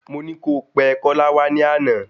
Mọ ní kó pẹ Kola wá ní àná